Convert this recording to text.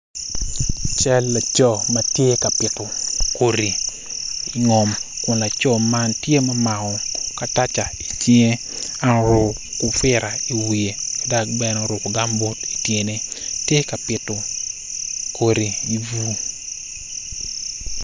Cal laco ma tye ka pito kodi i ngom kun laco man tye ma omako kataca i cing kun oruko kufira i wiye dok bene oruko gambot i tyene tye ka pito kodi i bur.